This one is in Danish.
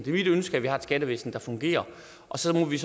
mit ønske at vi har et skattevæsen der fungerer og så må vi